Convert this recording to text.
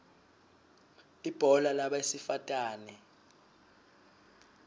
ibhola labesifatane